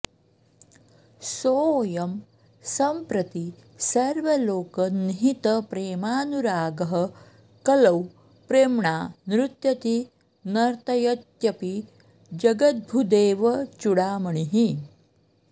सोऽयं सम्प्रति सर्वलोकनिहितप्रेमानुरागः कलौ प्रेम्णा नृत्यति नर्तयत्यपि जगद्भूदेवचूडामणिः